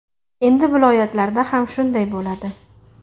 Endi viloyatlarda ham shunday bo‘ladi.